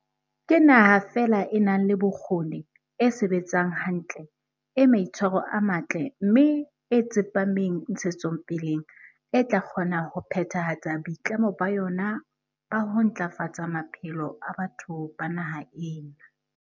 Ke naha feela e nang le bokgoni, e sebetsang hantle, e maitshwaro a matle mme e tsepameng ntshetsopeleng e tla kgona ho phethahatsa boitlamo ba yona ba ho ntla fatsa maphelo a batho ba naha ena.